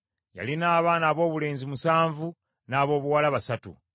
Yalina abaana aboobulenzi musanvu n’aboobuwala basatu.